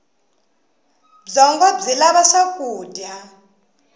byongo byi lava swakudya